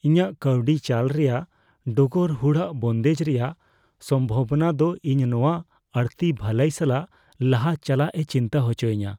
ᱤᱧᱟᱹᱜ ᱠᱟᱹᱣᱰᱤ ᱪᱟᱞ ᱨᱮᱭᱟᱜ ᱰᱚᱜᱚᱨ ᱦᱩᱲᱟᱹᱜ ᱵᱚᱱᱫᱮᱡ ᱨᱮᱭᱟᱜ ᱥᱚᱢᱵᱷᱚᱵᱚᱱᱟ ᱫᱚ ᱤᱧ ᱱᱚᱶᱟ ᱟᱹᱲᱛᱤ ᱵᱷᱟᱹᱞᱟᱹᱭ ᱥᱟᱞᱟᱜ ᱞᱟᱦᱟ ᱪᱟᱞᱟᱜ ᱮ ᱪᱤᱱᱛᱟᱹ ᱦᱚᱪᱚᱧᱟ ᱾